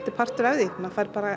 partur af því maður fær bara